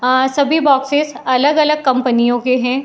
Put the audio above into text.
आ सभी बोक्सेस अलग-अलग कंपनियों के हैं।